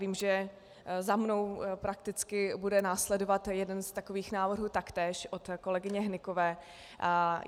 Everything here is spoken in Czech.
Vím, že za mnou prakticky bude následovat jeden z takových návrhů taktéž od kolegyně Hnykové.